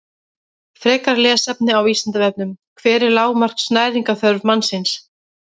Frekara lesefni á Vísindavefnum: Hver er lágmarks næringarþörf mannsins?